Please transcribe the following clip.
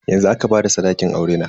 Yanzu aka bada sadakin aurena.